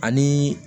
Ani